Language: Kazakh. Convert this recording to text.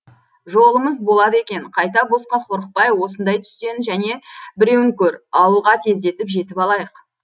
жолымыз болады екен қайта босқа қорықпай осындай түстен және біреуін көр ауылға тездетіп жетіп алайық